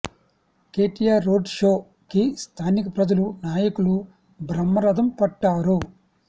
KTR road show కి స్థానిక ప్రజలు నాయకులు బ్రహ్మరధం పట్టారు